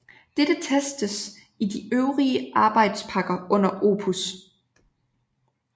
Dette testes i de øvrige arbejdspakker under OPUS